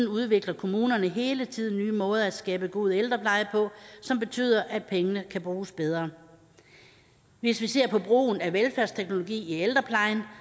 udvikler kommunerne hele tiden nye måder at skabe en god ældrepleje på som betyder at pengene kan bruges bedre hvis vi ser på brugen af velfærdsteknologi i ældreplejen